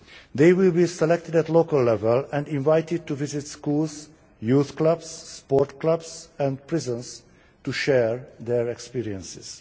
They will be selected at local level and invited to visit schools, youth clubs, sports clubs and prisons to share their experiences.